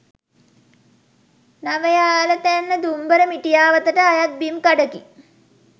නවයාලතැන්න දුම්බර මිටියාවතට අයත් බිම් කඩකි